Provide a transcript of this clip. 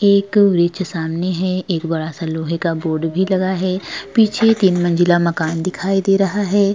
एक वृक्ष सामने है। एक बड़ा-सा लोहे का बोर्ड भी लगा है। पीछे तीन मंजिला मकान दिखाई दे रहा है।